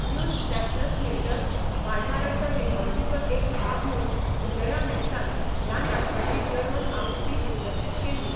Deutsche national theatre, व्हायमाराच्या रेपर्टरीचो एक भाग म्हूण विजया मेहतान ह्या नाटकाची जर्मन आवृत्ती दिग्दर्शीत केल्ली.